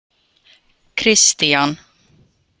Kristian